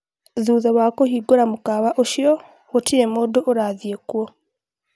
thutha wa kũhingũra mũkawa ũcĩo gũtirĩ mũndũ ũrathiĩ kuo